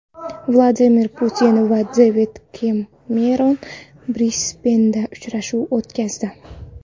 Vladimir Putin va Devid Kemeron Brisbenda uchrashuv o‘tkazdi.